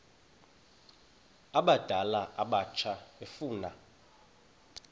abadala abatsha efuna